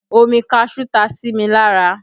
Omi kaṣuú ta si mi lára